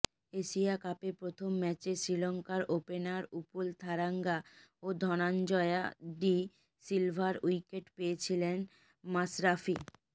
Asia কাপে প্রথম ম্যাচে শ্রীলঙ্কার ওপেনার উপুল থারাঙ্গা ও ধনাঞ্জয়া ডি সিলভার উইকেট পেয়েছিলেন মাশরাফি